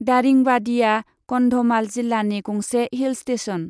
दारिंबादीया कन्धमाल जिल्लानि गंसे hill station.